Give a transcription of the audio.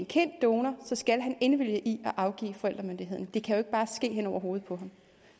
kendt donor skal han indvillige i at afgive forældremyndigheden det kan jo ikke bare ske hen over hovedet på ham